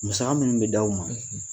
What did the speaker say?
Musaka minnu bɛ d'aw ma,